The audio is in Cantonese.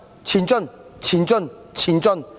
前進，前進，前進！